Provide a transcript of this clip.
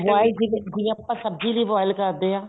boil ਜਿਵੇਂ ਆਪਾਂ ਸਬਜ਼ੀ ਲਈ boil ਕਰਦੇ ਹਾਂ